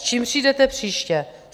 S čím přijdete příště?